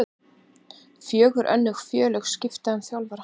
Fjögur önnur félög skipta um þjálfara